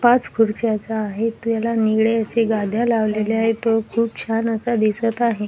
पाच खुरच्याचा आहे त्याला निळे असे गाध्या लावलेल्या आहे तो खूप छान असा दिसत आहे.